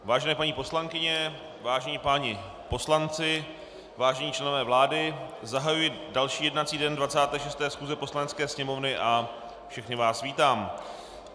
Vážené paní poslankyně, vážení páni poslanci, vážení členové vlády, zahajuji další jednací den 26. schůze Poslanecké sněmovny a všechny vás vítám.